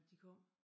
De kom